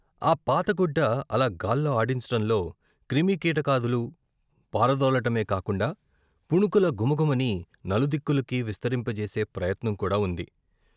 ఆ పాతగుడ్డ అలా గాల్లో ఆడించటంలో క్రిమి కీటకాదులు పారదోలటమే కాకుండా, పుణుకుల ఘుమ ఘుమని నలు దిక్కులకీ విస్తరింపచేసే ప్రయత్నం కూడా వుంది.